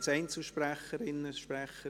Gibt es Einzelsprecherinnen, -sprecher?